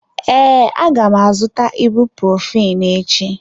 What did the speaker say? Ee, aga m azụta ibuprophen echi.